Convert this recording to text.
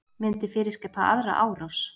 Myndi fyrirskipa aðra árás